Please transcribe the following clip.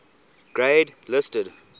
grade listed